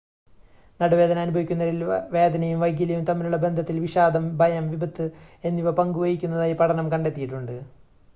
നടുവേദന അനുഭവിക്കുന്നവരിൽ വേദനയും വൈകല്യവും തമ്മിലുള്ള ബന്ധത്തിൽ വിഷാദം ഭയം വിപത്ത് എന്നിവ പങ്ക് വഹിക്കുന്നതായി പഠനം കണ്ടെത്തിയിട്ടുണ്ട്